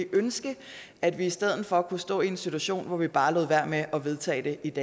ønske at vi i stedet for kunne stå i en situation hvor vi bare lod være med at vedtage det